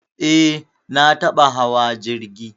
Eh, na taɓa hawa jirgi